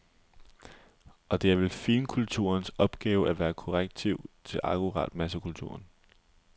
For det er vel finkulturens opgave at være et korrektiv til akkurat massekulturen?